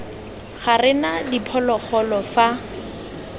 ga re na diphologolo fa